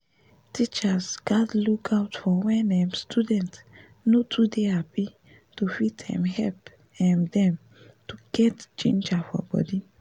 teachers gaz look out for wen um student no too dey happy to fit um help um dem get ginger for body